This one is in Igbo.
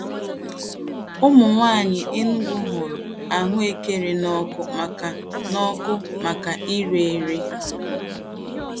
Ụmụnwaanyị Enugwu hụrụ ahụekere n'ọkụ maka n'ọkụ maka ire ere.